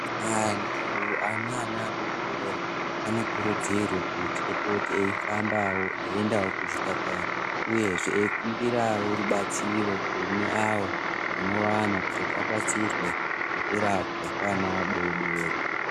Antu ane ana adodori anokurudzirwa kupote eifambawo eiendawo kuzvipatara uyezve eikukumbirawo rubatsiro kune awo anowana kuzoti abatsirwe ngekurapwa kweana adodori.